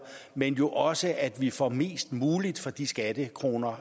men jo også at vi får mest muligt for de skattekroner